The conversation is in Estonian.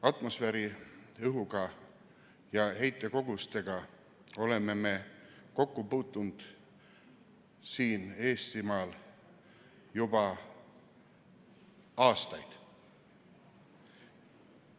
Atmosfääriõhuga ja heitkogustega oleme me siin Eestimaal kokku puutunud juba aastaid.